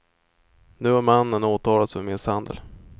Nu har mannen åtalats för misshandel.